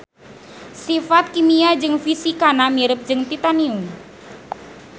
Sifat kimia jeung fisikana mirip jeung titanium.